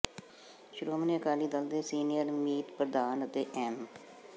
ਸ਼੍ਰੋਮਣੀ ਅਕਾਲੀ ਦਲ ਦੇ ਸੀਨੀਅਰ ਮੀਤ ਪ੍ਰਧਾਨ ਅਤੇ ਐਮ